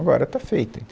Agora está feita,